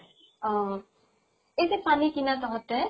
অহ। এই যে পানী কিনা তহঁতে